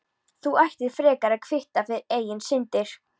Þú ættir frekar að kvitta fyrir eigin syndir.